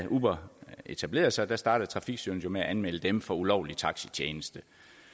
uber etablerede sig startede trafikstyrelsen med at anmelde dem for ulovlig taxitjeneste